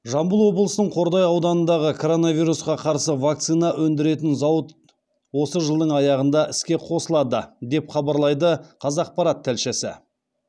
жамбыл облысының қордай ауданындағы коронавирусқа қарсы вакцина өндіретін зауыт осы жыдың аяғында іске қосылады деп хабарлайды қазақпарат тілшісі